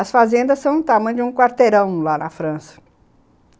As fazendas são do tamanho de um quarteirão lá na França.